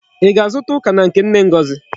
Í ga-azụta ọka na nke nne Ngozi?